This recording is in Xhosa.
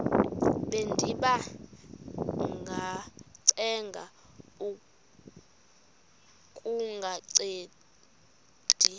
bendiba ngacenga kungancedi